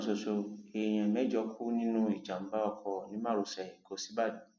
lọjọ kan ṣoṣo èèyàn mẹjọ kú nínú ìjàmbá ọkọ ní márosẹ ẹkọ sìbàdàn